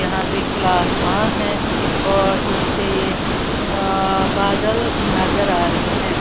यहां पे खुला आसमान है और उसपे अ बादल नजर आ रहे हैं।